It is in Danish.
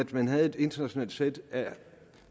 man havde et internationalt sæt af